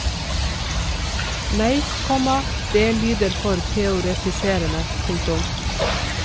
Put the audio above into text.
Nei, komma det lyder for teoretiserende. punktum